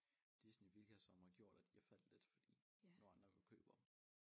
Disney hvilket som har gjort de har faldt lidt fordi nogle andre jo køber dem